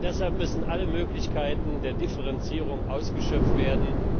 Deshalb müssen alle Möglichkeiten der Differenzierung ausgeschöpft werden.